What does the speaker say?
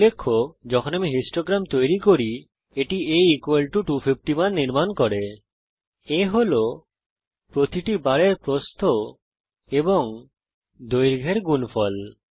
উল্লেখ্য যখন আমি বারলেখ তৈরি করি এটি a 250 মান নির্মাণ করে A হল প্রতিটি বারের প্রস্থ এবং দৈর্ঘ্যের গুণফল